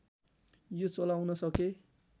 यो चलाउन सके